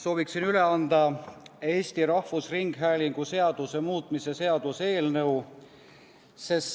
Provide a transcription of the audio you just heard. Sooviksin üle anda Eesti Rahvusringhäälingu seaduse muutmise seaduse eelnõu.